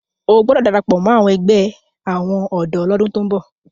o gbódò darapọ mọ ègbé àwọn odò l'ọdun tó ń bó!